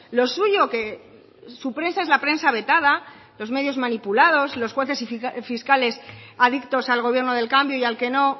lo suyo que su prensa es la prensa vetada los medios manipulados los jueces y fiscales adictos al gobierno del cambio y al que no